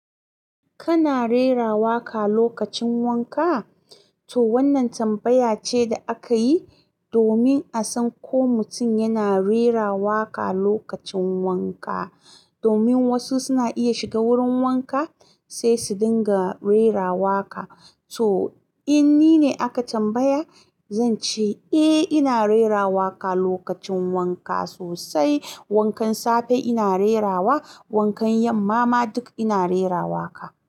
Kana rera waƙa lokacin wanka? To wannan tambaya ce da aka yi domin a san ko mutum yana rera waƙa lokacin wanka. Domin wasu suna iya shiga wurin wanka sai su dinga rera waƙa. To in ni ne aka tambaya, zan ce eh ina rera waƙa lokacin wanka sosai. Wankan safe ina rerawa, wankan yamma ma duk ina rera waƙa.